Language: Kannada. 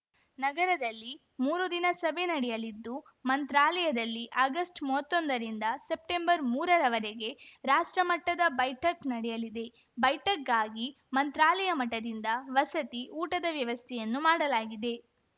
ನಗರದಲ್ಲಿ ಮೂರು ದಿನ ಸಭೆ ನಡೆಯಲಿದ್ದು ಮಂತ್ರಾಲಯದಲ್ಲಿ ಆಗಸ್ಟ್ಮೂವತ್ತೊಂದರಿಂದ ಸೆಪ್ಟೆಂಬರ್ಮೂರ ರವರೆಗೆ ರಾಷ್ಟ್ರ ಮಟ್ಟದ ಬೈಠಕ್‌ ನಡೆಯಲಿದೆ ಬೈಠಕ್‌ಗಾಗಿ ಮಂತ್ರಾಲಯ ಮಠದಿಂದ ವಸತಿ ಊಟದ ವ್ಯವಸ್ಥೆಯನ್ನು ಮಾಡಲಾಗಿದೆ